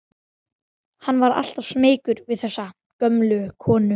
Hann var alltaf smeykur við þessa gömlu konu.